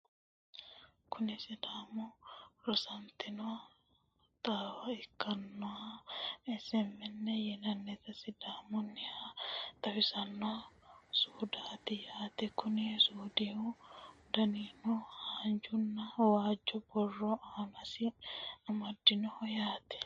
kuni sidaamu raadoonete xaawa ikkinoha SMN yine woshshinanniha xawisanno sumudaati yaate, konni sumudihu danisino haanjanna waajjo borro aanasi amadinoho yaate.